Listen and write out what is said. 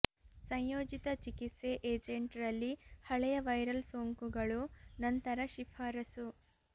ಸಂಯೋಜಿತ ಚಿಕಿತ್ಸೆ ಏಜೆಂಟ್ ರಲ್ಲಿ ಹಳೆಯ ವೈರಲ್ ಸೋಂಕುಗಳು ನಂತರ ಶಿಫಾರಸು